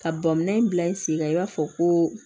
Ka bɔn minɛ in bila i sen kan i b'a fɔ ko